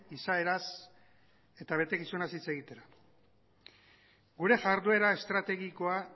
izaeraz eta betekizunaz hitz egitera gure jarduera estrategikoa